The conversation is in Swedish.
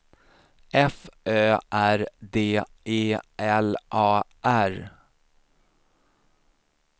F Ö R D E L A R